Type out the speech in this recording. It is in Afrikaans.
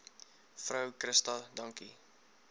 vrou christa dankie